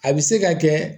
A bɛ se ka kɛ